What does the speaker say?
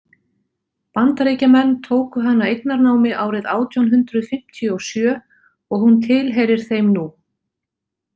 Bandaríkjamenn tóku hana eignarnámi árið átján hundrað fimmtíu og sjö og hún tilheyrir þeim nú.